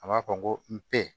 A ma fɔ n ko np